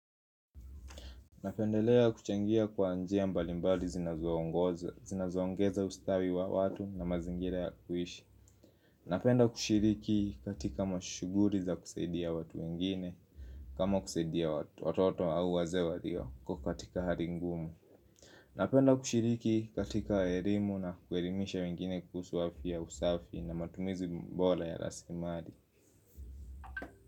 Napendelea kuchangia kwa njia mbalimbali zinazoongeza ustawi wa watu na mazingira ya kuhishi Napenda kushiriki katika mashughulii za kusaidia watu wengine kama kusaidia watoto au wazewee walio kwa katika hali ngumu Napenda kushiriki katika elimu na kuelimisha wengine kuhusu afya usafi na matumizi bora ya rasilimali.